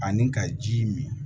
Ani ka ji min